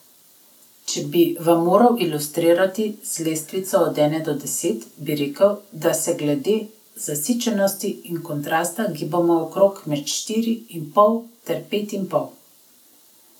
Če bi vam moral ilustrirati z lestvico od ene do deset, bi rekel, da se glede zasičenosti in kontrasta gibamo okrog med štiri in pol ter pet in pol.